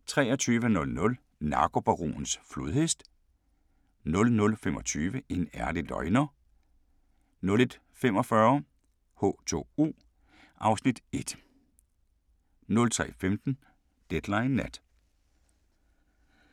23:00: Narkobaronens flodhest 00:25: En ærlig løgner 01:45: H2O (Afs. 1) 03:15: Deadline Nat